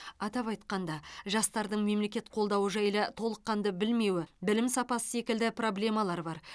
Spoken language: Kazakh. атап айтқанда жастардың мемлекет қолдауы жайлы толыққанды білмеуі білім сапасы секілді проблемалар бар